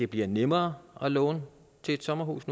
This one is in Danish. bliver nemmere at låne til et sommerhus